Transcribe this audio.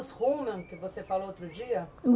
Os Rumen, que você falou outro dia?